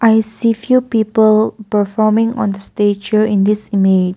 i see few people performing on the stage show in this image.